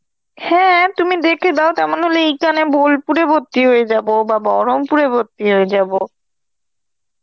হ্যাঁ তুমি দেখে দাও, তেমন হলে এখানে বোলপুরে ভর্তি হয়ে যাব বা বহরমপুরে ভর্তি হয়ে যাব.